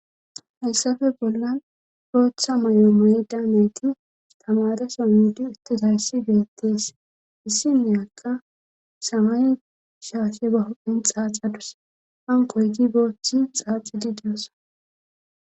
Hayssafe bollan booththa may7o may daamayti tamadesomudi ittos hayssi geettees issinneyakka samay shaashe ba hophin xaaxadus hankoygi booththi xaaxidi diyossa.